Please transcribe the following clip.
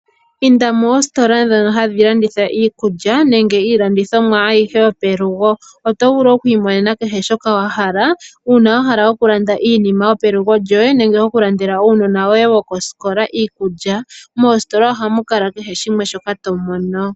Inda moositola ndhono hadhi landitha iikulya nenge iilandithomwa ayihe yopelugo noto vulu oku imonena kehe shoka wa hala uuna wa hala okulanda iinima yopelugo lyoye nenge okulandela uunona woye woye wokosikola iikulya. Moositola ohamu kala kehe shimwe shoka to mono.